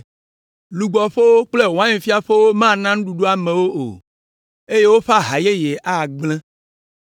Lugbɔƒewo kple wainfiaƒewo mana nuɖuɖu amewo o, eye woƒe aha yeye agblẽ.